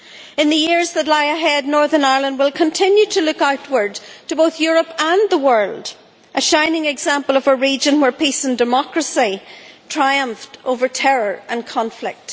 In the years that lie ahead, Northern Ireland will continue to look outward to both Europe and the world a shining example of a region where peace and democracy triumphed over terror and conflict.